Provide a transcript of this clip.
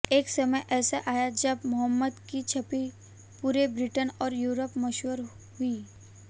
एक समय ऐसा आया जब मोहम्मद की चंपी पूरे ब्रिटेन और यूरोप मशहूर हुई